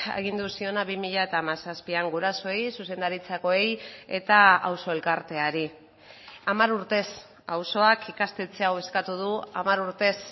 agindu ziona bi mila hamazazpian gurasoei zuzendaritzakoei eta auzo elkarteari hamar urtez auzoak ikastetxe hau eskatu du hamar urtez